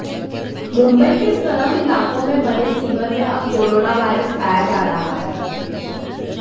मुंबई के स्लम इलाकों में बने सीवर में अब कोरोना वायरस पाए जा रहे हैं